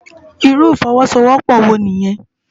Irú ifòwòsówòpò wó niyèn?